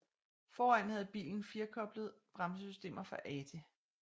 Foran havde bilen firekolbet bremsesystem fra Ate